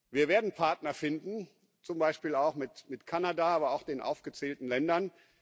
Wir werden Partner finden, zum Beispiel auch mit Kanada, aber auch den aufgezählten Ländern.